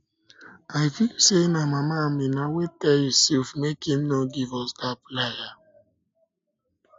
i feel say na mama amina wey tell yusuf make im no give us dat plier